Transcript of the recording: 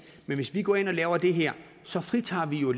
men hvis vi går ind og laver det her fritager vi jo